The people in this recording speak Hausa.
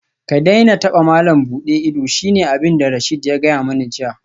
Ka daina taba malam buɗe ido shine abinda Rasheed ya gaya mani jiya